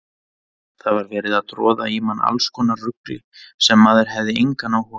Það var verið að troða í mann allskonar rugli sem maður hafði engan áhuga á.